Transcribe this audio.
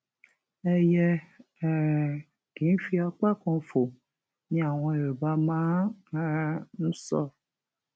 ẹyẹ um kì í fi apá kan fò ni àwọn yorùbá máa um ń sọ